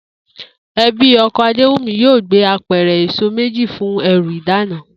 E̩bí o̩ko̩ Adéwùmí yóò gbé apè̩rè̩ èso méjì fún e̩rù ìdána